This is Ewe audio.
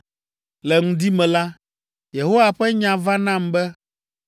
Le ŋdi me la, Yehowa ƒe nya va nam be,